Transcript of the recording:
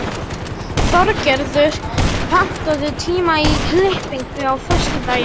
Þorgerður, pantaðu tíma í klippingu á föstudaginn.